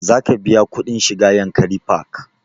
Za ka biya kuɗin shiga yankari park?